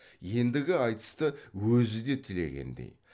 ендігі айтысты өзі де тілегендей